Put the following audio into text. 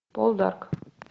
полдарк